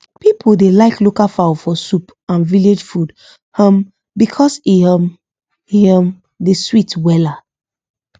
people dey like local fowl for soup and village food um because e um e um dey sweet wella